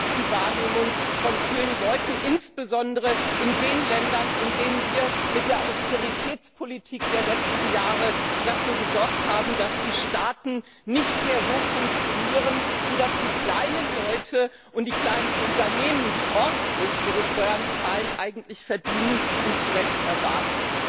Aber das ist die Wahrnehmung von vielen Leuten, insbesondere in den Ländern, in denen wir mit der Austeritätspolitik der letzten Jahre dafür gesorgt haben, dass die Staaten nicht mehr so funktionieren, wie das die kleinen Leute und die kleinen Unternehmen, die ordentlich ihre Steuern zahlen, eigentlich verdienen und zu Recht erwarten.